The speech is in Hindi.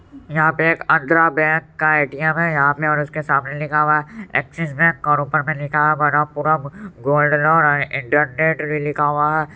यहाँ पे एक आन्ध्रा बैंक का ए_टी_म है यहाँ पे और उसके सामने लिखा हुआ एक्सिस बैंक और ऊपर में लिखा हुआ है मनपुरम गोल्ड लोन इंटरनेट भी लिखा हुआ है।